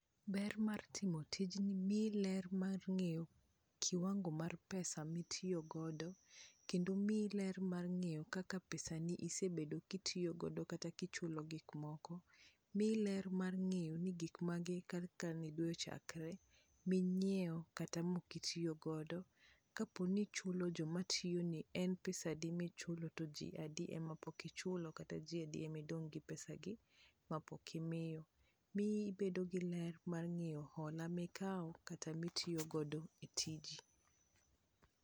Ber mar timo tijni miyi ler mar ng'eyo kiwango mar pesa mitiyogodo kendo , miyi ler mar ng'eyo kaka pesani isebedo kitiyo godo kata kichulo gik moko. Miyi ler mar ng'eyo ni gik mage kaka ne dwe ochakre ming'iewo kata mokitiyo godo kapo ni ichulo joma tiyoni en pesadi michulo to jii adi ema pok ichulo kata jii adi emidong' gi pesa gi mapok imiyo miyi bedo gi ler mar ng'eyo hola mikawo kata mitiyo godo e tiji.